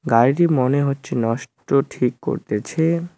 গাড়িটি মনে হচ্ছে নষ্ট ঠিক করতেছে।